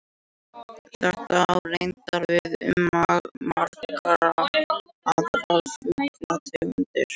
Þetta á reyndar við um margar aðrar fuglategundir.